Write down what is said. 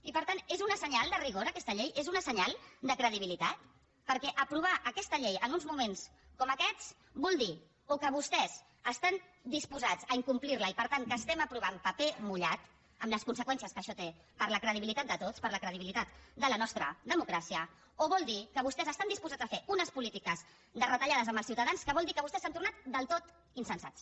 i per tant és un senyal de rigor aquesta llei és un senyal de credibilitat perquè aprovar aquesta llei en uns moments com aquests vol dir o que vostès estan disposats a incomplir la i per tant que estem aprovant paper mullat amb les conseqüències que això té per a la credibilitat de tots per a la credibilitat de la nostra democràcia o vol dir que vostès estan disposats a fer unes polítiques de retallades amb els ciutadans que vol dir que vostès s’han tornat del tot insensats